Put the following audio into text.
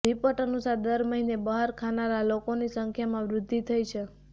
report અનુસાર દર મહિને બહાર ખાનારા લોકોની સંખ્યામાં વૃદ્ધિ થઈ છે